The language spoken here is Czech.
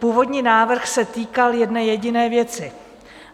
Původní návrh se týkal jedné jediné věci.